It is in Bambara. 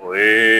O ye